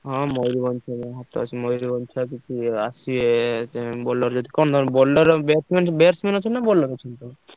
ହଁ ମୟୂରଭଞ୍ଜ ଛୁଆ ହାତରେ ଅଛନ୍ତି ମୟୂରଭଞ୍ଜ ଛୁଆ କିଛି ଆସିବେ କଣ ତମର bowler batsman batsman ନାଁ bowler ଅଛନ୍ତି?